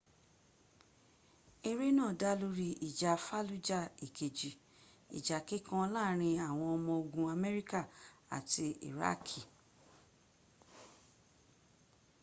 eré náà dá lórí ìjà fallujah ìkejì ìjà kíkan láàrín àwọn ọmọ ogun amerika àti iraaki